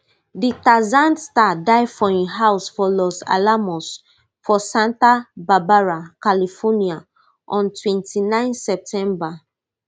di tarzan star die for im house for los alamos for santa barbara california on twenty-nine september